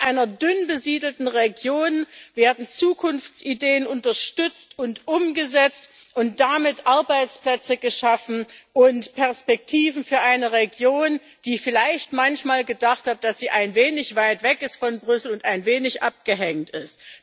In einer dünn besiedelten Region werden Zukunftsideen unterstützt und umgesetzt und damit Arbeitsplätze geschaffen und Perspektiven für eine Region, die vielleicht manchmal gedacht hat, dass sie ein wenig weit weg ist von Brüssel und ein wenig abgehängt ist.